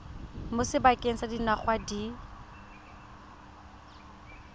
mo sebakeng sa dingwaga di